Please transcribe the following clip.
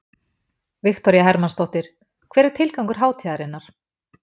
Viktoría Hermannsdóttir: Hver er tilgangur hátíðarinnar?